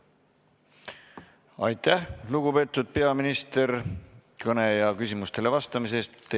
Aitäh, lugupeetud peaminister, kõne ja küsimustele vastamise eest!